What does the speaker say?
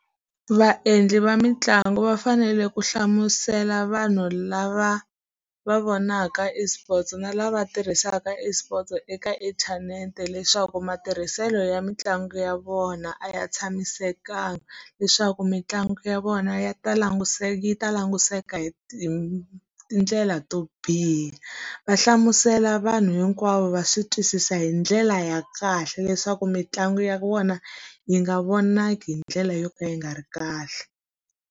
Vaendli va mitlangu va fanele ku hlamusela vanhu lava va vonaka eSports na lava tirhisaka eSports eka inthanete leswaku matirhiselo ya mitlangu ya vona a ya tshamisekanga. Leswaku mitlangu ya vona ya ta yi ta languseka hi tindlela to biha. Va hlamusela vanhu hinkwavo va swi twisisa hi ndlela ya kahle leswaku mitlangu ya vona, yi nga vonaki hi ndlela yo ka yi nga ri kahle.